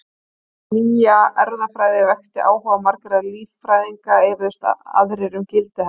Þótt hin nýja erfðafræði vekti áhuga margra líffræðinga efuðust aðrir um gildi hennar.